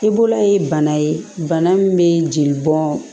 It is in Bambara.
I bolo ye bana ye bana min bɛ jeli bɔn